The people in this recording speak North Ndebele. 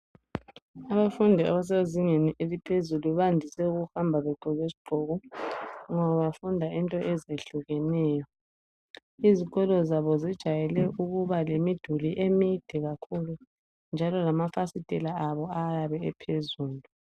Abafundi abasezingeni eliphezulu bandise ukuhamba begqoke izigqoko ngoba bafunda into ezehlukeneyo. Izikolo zabo zijayele ukuba lemiduli emide kakhulu njalo lama fasitela abo ayabe ephezulu.